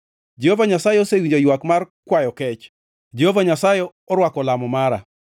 Jehova Nyasaye osewinjo ywak mar kwayo kech; Jehova Nyasaye orwako lamo mara.